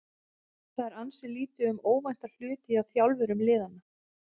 Það er ansi lítið um óvænta hluti hjá þjálfurum liðanna.